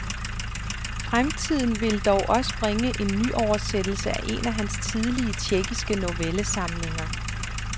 Fremtiden vil dog også bringe en nyoversættelse af en af hans tidlige, tjekkiske novellesamlinger.